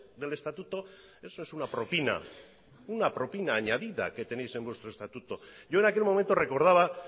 del estatuto eso es una propina una propina añadida que tenéis en vuestro estatuto denbora bukatu da yo en aquel momento recordaba